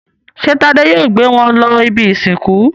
Ṣé Tádé yóò gbé wọn lọ ibi-ìsìnkú?